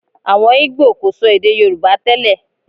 Àwọn ìgbò kò sọ èdè Yorùbá tẹ́lẹ̀